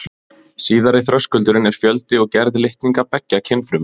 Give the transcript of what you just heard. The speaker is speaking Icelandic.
Síðari þröskuldurinn er fjöldi og gerð litninga beggja kynfruma.